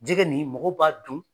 Jɛgɛ nin mɔgɔ b'a dun.